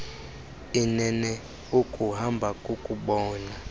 inene ukuhamba kukubona